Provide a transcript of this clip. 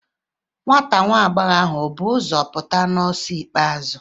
Nwa agbọghọ ahụ ọ̀ bu ụzọ pụta n'ọsọ ikpeazụ?